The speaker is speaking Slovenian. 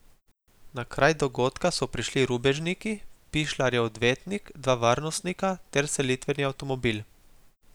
Na kraj dogodka so prišli rubežnik, Pišljarjev odvetnik, dva varnostnika ter selitveni avtomobil.